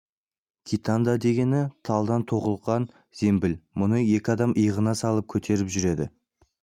китанда дегені талдан тоқылған зембіл мұны екі адам иығына салып көтеріп жүреді